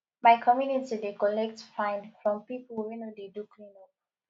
my community dey collect fine from pipo wey no dey do cleanup